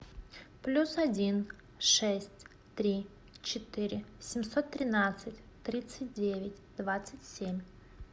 плюс один шесть три четыре семьсот тринадцать тридцать девять двадцать семь